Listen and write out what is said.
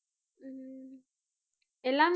எல்லாமே